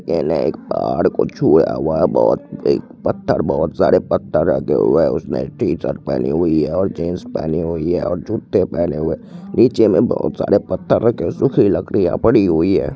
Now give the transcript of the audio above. पहाड़ को छुया हुआ है बहोत एक पत्थर बहोत सारे पत्थर रखे हुई है उसने टी-शर्ट पहनी हुई है और जीन्स पहनी हुई है और जुटे पहने हुई है नीचे में बहुत सारे पत्थर रखे है सूखी लकडिया पड़ी हुई है।